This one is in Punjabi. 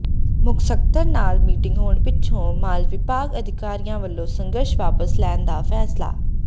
ਮੁੱਖ ਸਕੱਤਰ ਨਾਲ ਮੀਟਿੰਗ ਹੋਣ ਪਿੱਛੋਂ ਮਾਲ ਵਿਭਾਗ ਅਧਿਕਾਰੀਆਂ ਵੱਲੋਂ ਸੰਘਰਸ਼ ਵਾਪਸ ਲੈਣ ਦਾ ਫ਼ੈਸਲਾ